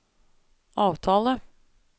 avtale